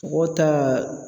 Mɔgɔ ta